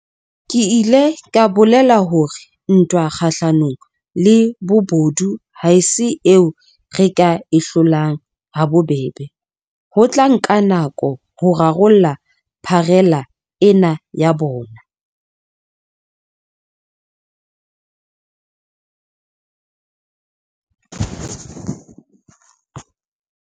Ke ile ka bolela hore ntwa kgahlano le bobodu ha se eo re ka e hlolang ha bobebe, ho tla nka nako ho rarolla pharela ena ya bona.